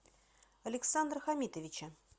александра хамитовича